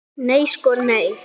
Nei sko nei.